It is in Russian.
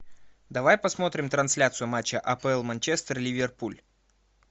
давай посмотрим трансляцию матча апл манчестер ливерпуль